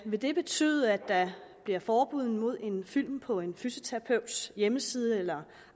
vil det betyde at der bliver forbud mod en film på en fysioterapeuts hjemmeside eller